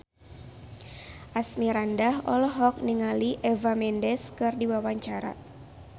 Asmirandah olohok ningali Eva Mendes keur diwawancara